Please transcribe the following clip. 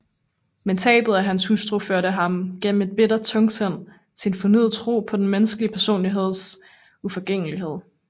Men tabet af hans hustru førte ham gennem et bittert tungsind til en fornyet tro på den menneskelige personligheds uforgængelighed